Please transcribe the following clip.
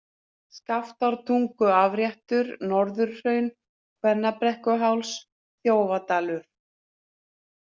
Skaftártunguafréttur, Norðurhraun, Kvennabrekkuháls, Þjófadalur